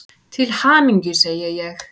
Til hamingju, segi ég.